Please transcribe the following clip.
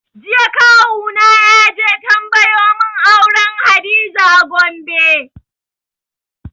Jiya kawu na yaje tambayo mun auren hadiza a Gombe